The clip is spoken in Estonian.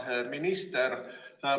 Hea minister!